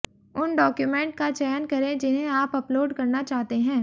उन डॉक्यूमेंट का चयन करें जिन्हें आप अपलोड करना चाहते हैं